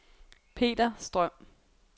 Peter Strøm